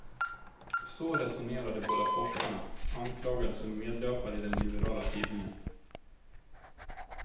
Så resonerar de båda forskarna, anklagade som medlöpare i den liberala tidningen.